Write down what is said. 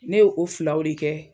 Ne ye filaw de kɛ